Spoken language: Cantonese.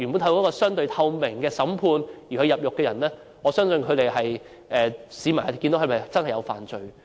透過相對透明的審判而被判入獄的人，市民可以看到他們是否真的犯罪。